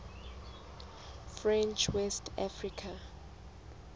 french west africa